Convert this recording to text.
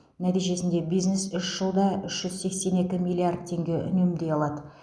нәтижесінде бизнес үш жылда үш жүз сексен екі миллиард теңге үнемдей алады